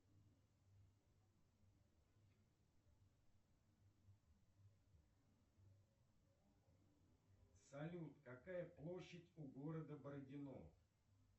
афина кто играл маэстро в фильме в бой идут одни старики